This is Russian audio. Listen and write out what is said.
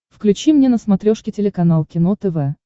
включи мне на смотрешке телеканал кино тв